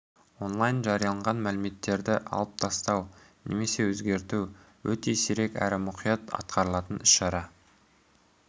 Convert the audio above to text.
онлайн жарияланған мәліметтерді алып тастау немесе өзгерту өте сирек әрі өте мұқият атқарылатын іс-шара